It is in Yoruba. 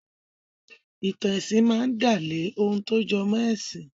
Ì̀tàn ẹ̀sìn máa ń dálé ohun tó jọmọ́ ẹ̀sìn.